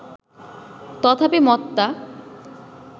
তথাপি মতটা